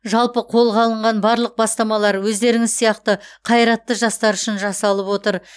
жалпы қолға алынған барлық бастамалар өздеріңіз сияқты қайратты жастар үшін жасалып отыр